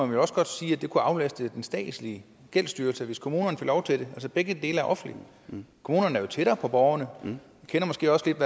vel også godt sige at det kunne aflaste den statslige gældsstyrelse hvis kommunerne fik lov til det altså begge dele er offentlige kommunerne er jo tættere på borgerne og kender måske også lidt